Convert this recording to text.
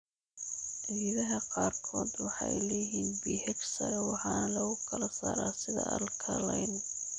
Ciidaha qaarkood waxay leeyihiin pH sare waxaana lagu kala saaraa sida alkaline.